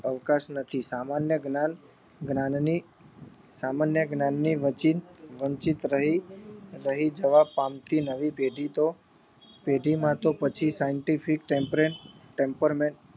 અવકાશ નથી સામાન્ય જ્ઞાન જ્ઞાનની સામાન્ય જ્ઞાનની વચિત વંચિત રહી રહી જવા પામતી નવી પેઢી તો પેઢી માં તો પછી તો scientific temperament temperment